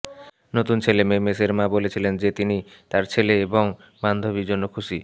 নতুন ছেলেমেয়ে মেসের মা বলেছিলেন যে তিনি তার ছেলে এবং বান্ধবী জন্য খুশি